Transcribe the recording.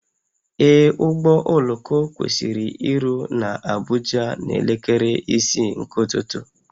Ee, ụgbọ oloko kwesịrị iru na Abuja na elekere isii nke ụtụtụ